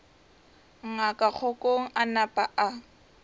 ngaka kgokong a napa a